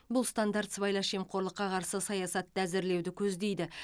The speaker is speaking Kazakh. бұл стандарт сыбайлас жемқорлыққа қарсы саясатты әзірлеуді көздейді